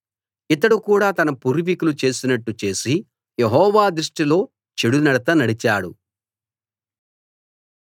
ఇతడు కూడా తన పూర్వికులు చేసినట్టు చేసి యెహోవా దృష్టిలో చెడు నడత నడిచాడు